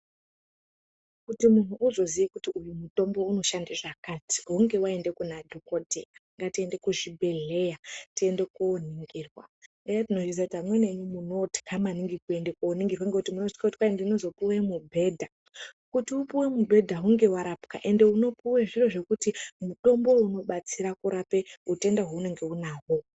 Kuti muntu uzoziye kuti uyu mutombo inoshande zvakati hunge waenda Kuna dhokoteya. Ngetiende kuzvibhedhleya tiende koningirwa , amweni enyu munotya kuti muende koningirwa ngekuti munotye kuti kwai ndinozopuwe mubhedha .Kuti upiwe mubhedha hunge warapwa ende unopuwe zviro zvekuti mutombo uyu unobatsire kurapa utenda hwaunahwo